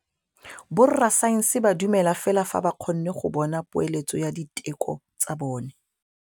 Borra saense ba dumela fela fa ba kgonne go bona poeletsô ya diteko tsa bone.